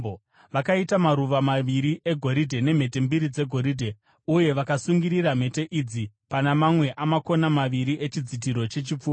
Vakaita maruva maviri egoridhe nemhete mbiri dzegoridhe, uye vakasungirira mhete idzi pana mamwe amakona maviri echidzitiro chechipfuva.